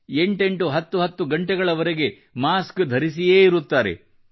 8 10 ಗಂಟೆವರೆಗೆ ಮಾಸ್ಕ್ ಧರಿಸಿಯೇ ಇರುತ್ತಾರೆ